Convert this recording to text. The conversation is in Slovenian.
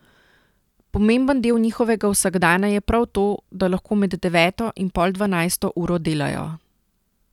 Pomemben del njihovega vsakdana je prav to, da lahko med deveto in pol dvanajsto uro delajo.